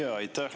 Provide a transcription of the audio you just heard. Aitäh!